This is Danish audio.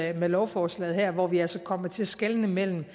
er med lovforslaget her hvor vi altså kommer til at skelne imellem